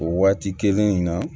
O waati kelen in na